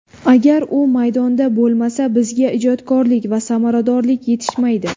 Agar u maydonda bo‘lmasa, bizga ijodkorlik va samaradorlik yetishmaydi.